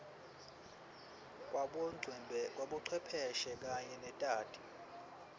kwabocwepheshe kanye netati